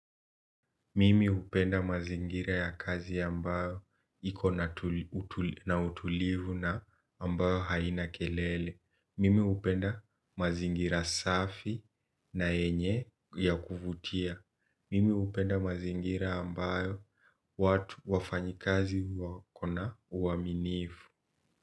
Mimi hupenda mazingira ya kazi ambayo iko na na utulivu na ambayo haina kelele. Mimi hupenda mazingira safi na yenye ya kuvutia. Mimi hupenda mazingira ambayo watu wafanya kazi wako na uaminivu.